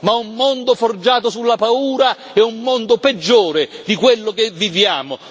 Ma un mondo forgiato sulla paura è un mondo peggiore di quello che viviamo.